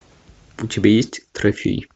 у тебя есть трофей